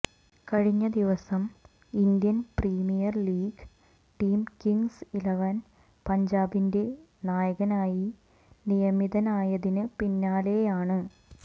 കഴിഞ്ഞ ദിവസം Indian Premier League team Kings Eleven പഞ്ചാബിന്റെ നായകനായി നിയമിതനായതിന് പിന്നാലെയാണ്